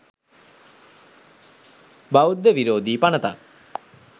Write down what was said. බෞද්ධ විරෝධී පනතක්